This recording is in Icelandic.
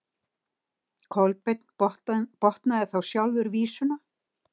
Kolbeinn botnaði þá sjálfur vísuna: